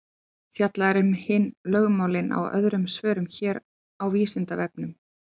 Fjallað er um hin lögmálin í öðrum svörum hér á Vísindavefnum.